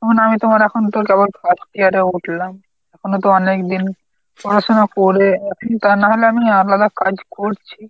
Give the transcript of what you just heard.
এখন আমি তোমার এখন তো কেবল first year এ উঠলাম। এখনো তো অনেকদিন পড়াশুনা করে তা নাহলে আমি আলাদা কাজ করছি।